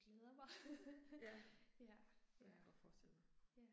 Ja. Det kan jeg godt forestille mig